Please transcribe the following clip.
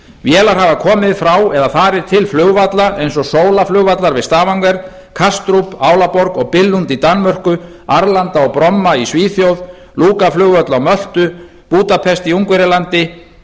vélar hafa komið frá eða farið til flugvalla eins og solaflugvallar við stavanger kastrup álaborg og billund í danmörku arlanda og bromma í svíþjóð lukaflugvöll á möltu búdapest í ungverjalandi